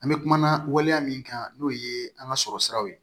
An bɛ kuma waleya min kan n'o ye an ka sɔrɔ siraw ye